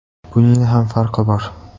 Buning ham farqi bor.